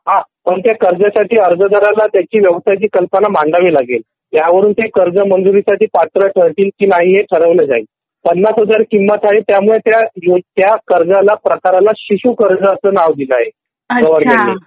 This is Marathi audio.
हा पण कर्जासाठी त्या अर्जदाराला त्याची व्यवसाय ची कल्पना मांडवी लागेल ह्यावरून ते कर्ज मंजुरी साठी ते पत्र ठरतील की नाही हे ठरवलं जाईल. ५० हजार किंमत आहे म्हणून त्या कर्जाला प्रकाराला शिशु कर्ज असा नाव दिलं आहे गवर्नमेंट ने